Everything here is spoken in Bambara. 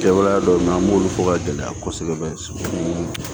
Kɛwale dɔw bɛ na an b'olu fɔ ka gɛlɛya kosɛbɛ sugunɛ